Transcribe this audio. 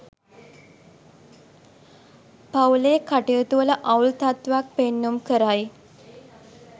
පවුලේ කටයුතුවල අවුල් තත්ත්වයක් පෙන්නුම් කරයි.